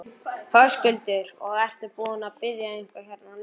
Höskuldur: Og ertu búinn að bíða eitthvað hérna lengi?